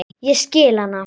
Ég skil hana.